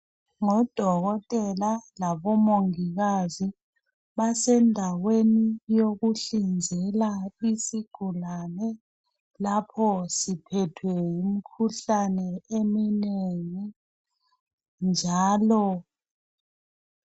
Ngodokotela labomongikazi basendaweni yokunhlinzela isigulane lapho siphethwe yimkhuhlane eminengi njalo